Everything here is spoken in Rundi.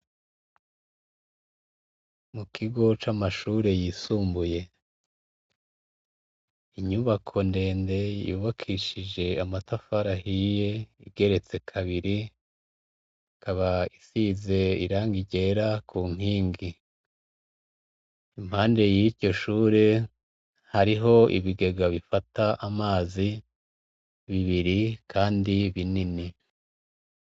Mu kigo c'amashure yisumbuye, inyubako ndende yubakishije amatafari ahiye igeretse kabiri, ikaba isize irangi ryera ku nkingi, impande yiryo shure hariho ibigega bifata amazi bibiri kandi binini.